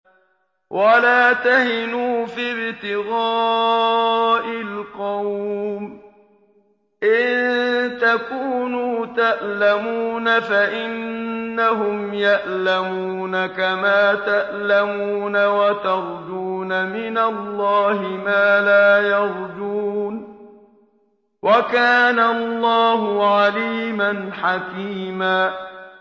وَلَا تَهِنُوا فِي ابْتِغَاءِ الْقَوْمِ ۖ إِن تَكُونُوا تَأْلَمُونَ فَإِنَّهُمْ يَأْلَمُونَ كَمَا تَأْلَمُونَ ۖ وَتَرْجُونَ مِنَ اللَّهِ مَا لَا يَرْجُونَ ۗ وَكَانَ اللَّهُ عَلِيمًا حَكِيمًا